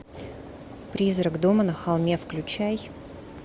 призрак дома на холме включай